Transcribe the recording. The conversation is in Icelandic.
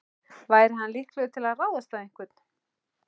Væri hann líklegur til að ráðast á einhvern?